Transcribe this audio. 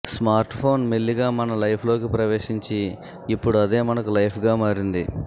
smartphone మెల్లిగా మన లైఫ్లోకి ప్రవేశించి ఇప్పుడు అదే మనకు లైఫ్గా మారింది